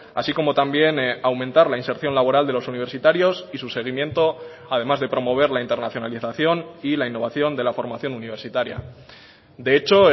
así como también aumentar la inserción laboral de los universitarios y su seguimiento además de promover la internacionalización y la innovación de la formación universitaria de hecho